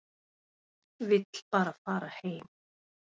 Vill bara fara heim.